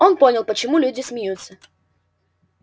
он понял почему люди смеются